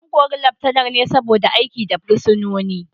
An kori Laftanar ne saboda aiki da fursunoni